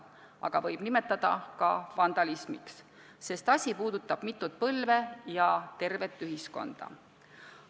Aga seda võib nimetada ka vandalismiks, sest asi puudutab mitut põlve ja tervet ühiskonda.